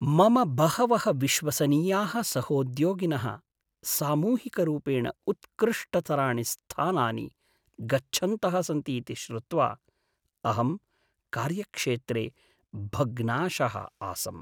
मम बहवः विश्वसनीयाः सहोद्योगिनः सामूहिकरूपेण उत्कृष्टतराणि स्थानानि गच्छन्तः सन्ति इति श्रुत्वा अहं कार्यक्षेत्रे भग्नाशः आसम्।